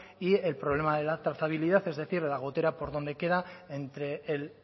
y el problema de la trazabilidad es decir de la gotera por dónde queda entre el